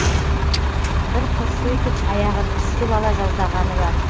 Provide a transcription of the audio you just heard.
бір қыз сөйтіп аяғын үсітіп ала жаздағаны бар